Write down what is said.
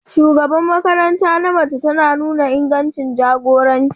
shugaban makaranta na mace tana nuna ingancin jagoranci.